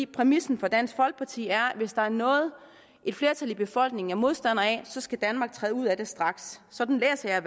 præmissen for dansk folkeparti er at hvis der er noget et flertal i befolkningen er modstander af så skal danmark træde ud af det straks sådan læser jeg